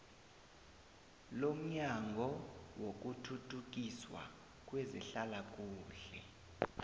lomnyango wokuthuthukiswa kwezehlalakuhle